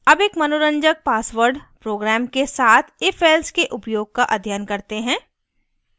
अब एक मनोरंजक password program के साथ ifelse के उपयोग का अध्ययन करते हैं